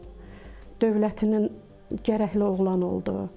Dövlətinin gərəkli oğlan oldu.